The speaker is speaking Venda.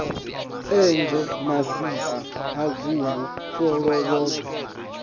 enzhe masisi ha gumbu folovhoḓwe